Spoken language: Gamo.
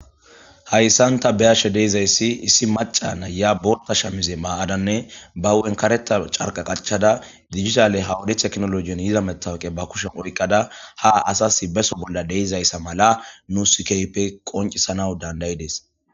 Hayssan ta beyashe deizayssi issi maca na ya bolta shamize maa'adanne ba hwenkareta carqa qachada digitale hawodeth eknoloiyon yiza metawqe ba kushen oyqqada ha asas beso bolla deizayssa mala nu sikaype qoncisana dandayi dees.